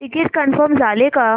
ticket confirm झाले का